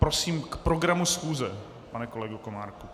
Prosím, k programu schůze, pane kolego Komárku.